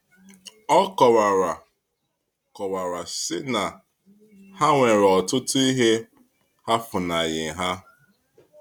ọ kọwara kọwara sị na ha nwere ọtụtụ ihe ha fúnaghị ha